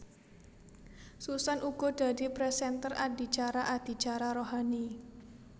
Susan uga dadi présènter adicara adicara rohani